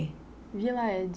Vila Ede.